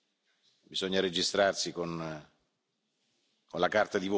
Bisogna registrarsi con la carta di voto.